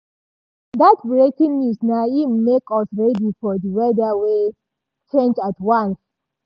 dat breaking news na im make us ready for di weather wey change at once.